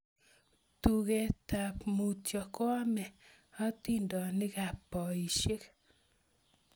Tugetap mutyo koamu hatindonikab boisiek